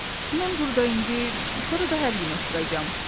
"Mən burda indi, sonra da hər gün oturacam."